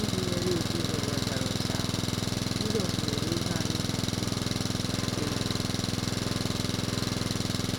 Iji nyere ezinụlọ Lazarọs aka, Jizọs mere ihe anyị na-apụghị ime.